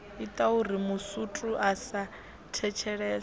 itauri masutu a sa thetshelese